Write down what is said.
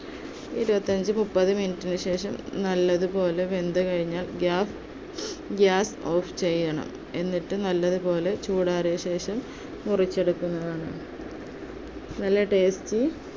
ഇരുപത്തിഅഞ്ച് മുപ്പത് minute ന് ശേഷം നല്ലതുപോലെ നല്ലതുപോലെ വെന്തുകഴിഞ്ഞാൽ gas~ gas off ചെയ്യണം. എന്നിട്ട് നല്ലതുപോലെ ചൂടാറിയതിനു ശേഷം, മുറിച്ചെടുക്കുന്നതാണ്. നല്ല tasty